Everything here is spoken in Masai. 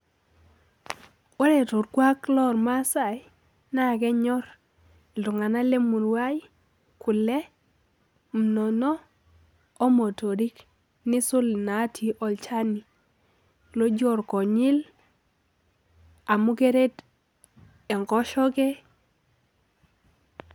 Ore torkuak lormasai, naa kenyor iltung'anak lemurua ai kule, munono, omotorik. Nisul inatii olchani loji orkonyil amu keret enkoshoke.